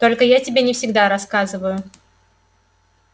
только я себе не всегда рассказываю